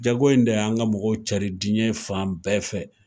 Jago in de y' an ka mɔgɔw cari diɲɛ fan bɛɛ fɛ